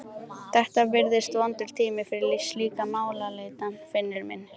Þetta virðist vondur tími fyrir slíka málaleitan, Finnur minn.